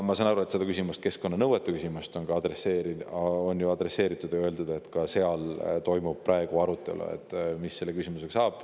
Ma saan aru, et seda keskkonnanõuete küsimust on ka adresseeritud ja on öeldud, et praegu toimub arutelu, mis selle küsimusega saab.